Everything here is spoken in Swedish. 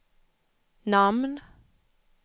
namn